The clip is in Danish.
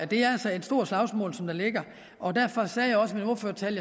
det er altså et stort slagsmål der ligger og derfor sagde jeg også i min ordførertale